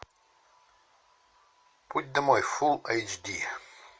путь домой фул эйч ди